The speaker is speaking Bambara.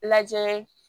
Lajɛ